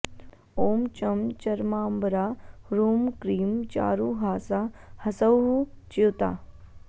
ॐ चं चर्माम्बरा ह्रूं क्रीं चारुहासा हसौः च्युता